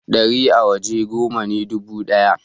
dari a waje goma ne dubu daya